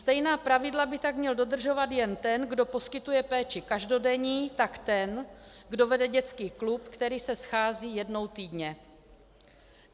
Stejná pravidla by tak měl dodržovat jak ten, kdo poskytuje péči každodenní, tak ten, kdo vede dětský klub, který se schází jednou týdně.